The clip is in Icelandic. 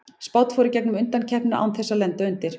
Spánn fór í gegnum undankeppnina án þess að lenda undir.